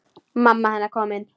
Mamma hennar komin.